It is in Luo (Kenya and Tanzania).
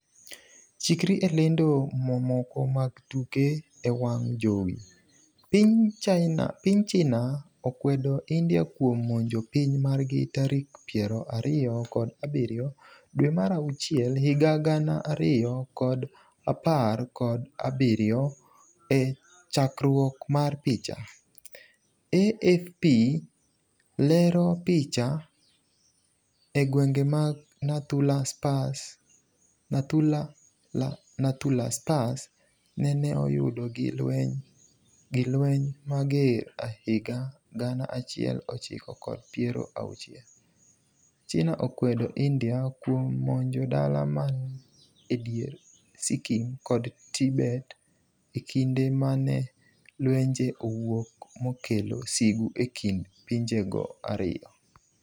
chikri e lendo mamoko mag tuke e wang' jowi, piny China okwedo India kuom monjo piny margi tarik piero ariyo kod abiriyo dwe mar auchiel higa gana ariyo kod apar kod abiriyo e chakruok mar picha, AFP lero picha,e gwenge mag Nathu la Pass neneoyud gi lweny mager higa gana achiel ochiko kod piero auchiel ,China okwedo India kuom monjo dala man e dier Sikkim kod Tibet e kinde mane lwenje owuok mokelo sigu e kind pinjego ariyo.